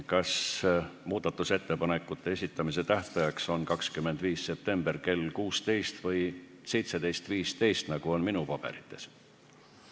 Kas muudatusettepanekute esitamise tähtaeg on 25. september kell 16.00 või 17.15, nagu on minu paberites?